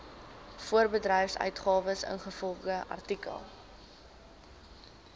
voorbedryfsuitgawes ingevolge artikel